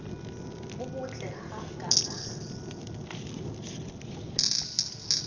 bo bottle ha a ka